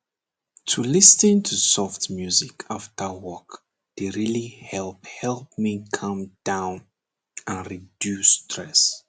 to lis ten to soft music after work dey really help help me calm down and reduce stress